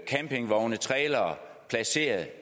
campingvogne trailere placeret